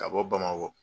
Ka bɔ bamakɔ